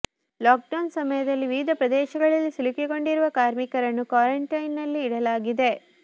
lock down ಸಮಯದಲ್ಲಿ ವಿವಿಧ ಪ್ರದೇಶಗಳಲ್ಲಿ ಸಿಲುಕಿಕೊಂಡಿರುವ ಕಾರ್ಮಿಕರನ್ನು ಕ್ವಾರಂಟೈನ್ ನಲ್ಲಿ ಇಡಲಾಗಿದೆ